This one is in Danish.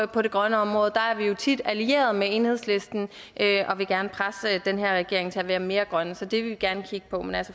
på det grønne område der er vi jo tit allierede med enhedslisten og vil gerne presse den her regering til at være mere grøn så det vil vi gerne kigge på men